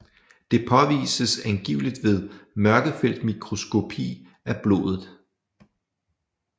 Det påvises angiveligt ved mørkefeltmikroskopi af blodet